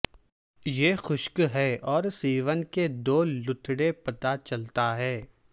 یہ خشک ہے اور سیون کے دو لوتھڑے پتہ چلتا ہے